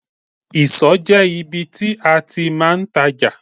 Ìsọ̀ jẹ́ ibi tí a ti máa ń tajà.